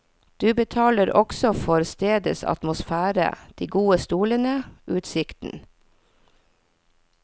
Du betaler også for stedets atmosfære, de gode stolene, utsikten.